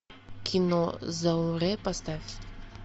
кино зауре поставь